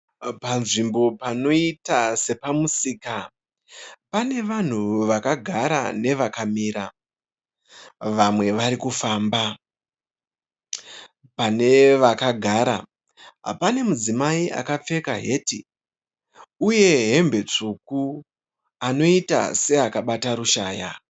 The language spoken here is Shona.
Panzvimbo panoita sepamusika pane vanhu vakagara nevakamira vamwe vari kufamba. Pane vakagara pane mudzimai akapfeka heti uye hembe tsvuku anoita seakabata rushaya.